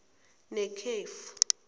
nekhefu